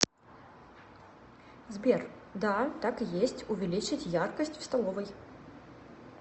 сбер да так и есть увеличить яркость в столовой